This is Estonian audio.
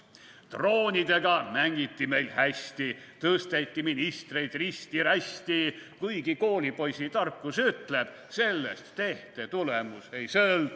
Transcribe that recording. / Droonidega mängiti meil hästi, / tõsteti ministreid risti-rästi, / kuigi koolipoisitarkus ütleb, / sellest tehte tulemus ei sõltu.